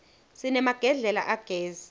sinemagedlela agezi